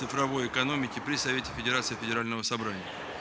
цифровой экономики при совете федерации федерального собрания